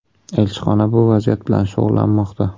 Elchixona bu vaziyat bilan shug‘ullanmoqda.